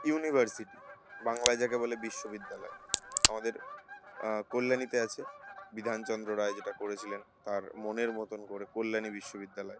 University বাংলায় যাকে বলে বিশ্ববিদ্যালয়। আমাদের আহ কল্যাণীতে আছে বিধান চন্দ্র রায় যেটা করেছিলেন তার মনের মতোন করে কল্যাণী বিশ্ববিদ্যালয়।